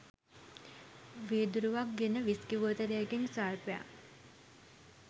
වීදුරුවක් ගෙන විස්කි බෝතලයකින් ස්වල්පයක්